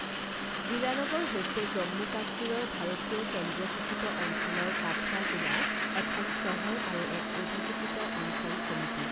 হীৰানগৰ হৈছে জম্মু কাশ্মীৰৰ ভাৰতীয় কেন্দ্ৰীয় শাসিত অঞ্চলৰ কাঠুৱা জিলাৰ এখন চহৰ আৰু এক অধিসূচিত অঞ্চল সমিতি।